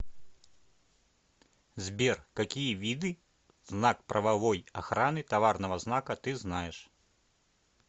сбер какие виды знак правовой охраны товарного знака ты знаешь